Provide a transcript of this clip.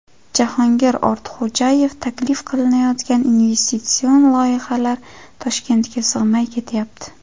Jahongir Ortiqxo‘jayev: Taklif qilinayotgan investitsion loyihalar Toshkentga sig‘may ketyapti.